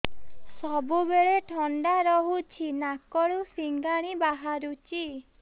ସବୁବେଳେ ଥଣ୍ଡା ରହୁଛି ନାକରୁ ସିଙ୍ଗାଣି ବାହାରୁଚି